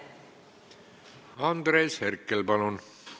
Andres Herkel, palun!